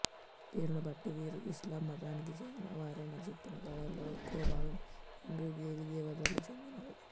పేరునుబట్టి వీరు ఇస్లాం మతానికి చెందిన వారైనా చెప్పిన కథలలో ఎక్కువ భాగం హిందూ దేవీదేవతలకు చెందినవే